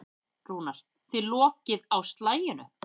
Rúnar: Þið lokið á slaginu?